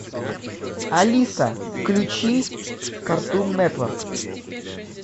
алиса включи картун нетворк